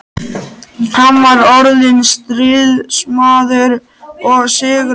Hann var orðinn stríðsmaður og sigurvegari.